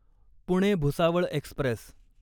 Pune Bhusawal Express